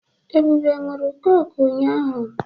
Ebube ṅụụrụ kọ́kụ́ ụnyahụ.